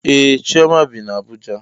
Ee chioma bi na Abuja.